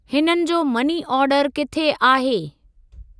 हिननि जो money order किथे आहे?